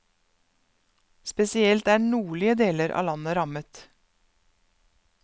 Spesielt er nordlige deler av landet rammet.